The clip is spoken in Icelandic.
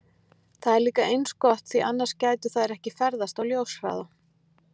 Það er líka eins gott því annars gætu þær ekki ferðast á ljóshraða!